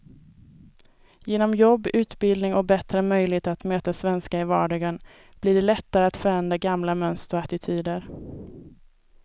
Genom jobb, utbildning och bättre möjligheter att möta svenskar i vardagen blir det lättare att förändra gamla mönster och attityder.